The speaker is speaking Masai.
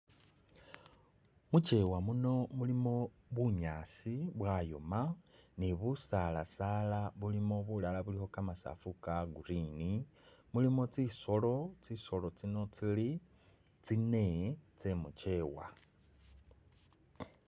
Mukiwa muno mulimo bunyaasi bwayooma ni busaala saala bulimo bulala bilikho kamasafu Ka green mulimo tsisolo, tsisolo tsino tsili tsinee tsemukiwa